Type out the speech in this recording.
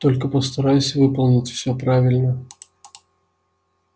только постарайся выполнить все правильно